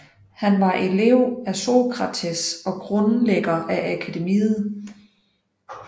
Han var elev af Sokrates og grundlægger af akademiet